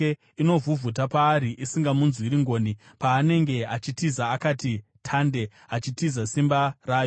Inovhuvhuta paari isingamunzwiri ngoni, paanenge achitiza akati tande achitiza simba rayo.